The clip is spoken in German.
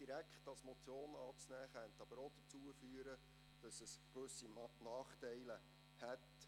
Ihn als Motion anzunehmen, könnte gewisse Nachteile für die Polizei zur Folge haben.